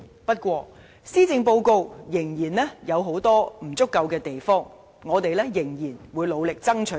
不過，施政報告仍有很多不足之處，我們仍會努力爭取。